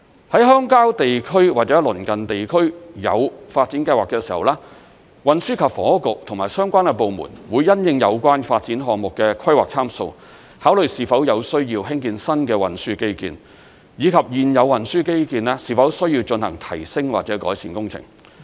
在鄉郊地區或鄰近地區有發展計劃的時候，運輸及房屋局和相關部門會因應有關發展項目的規劃參數，考慮是否有需要興建新的運輸基建，以及現有運輸基建是否需要進行提升或改善工程。